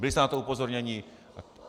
Byli jste na to upozorněni.